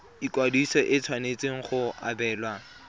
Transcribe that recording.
ikwadiso e tshwanetse go obamelwa